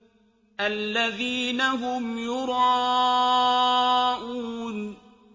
الَّذِينَ هُمْ يُرَاءُونَ